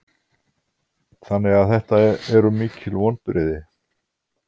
Þannig að þetta eru mikil vonbrigði?